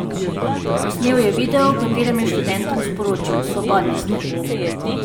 Posnel je video, v katerem je študentom sporočil: 'Svobodni ste!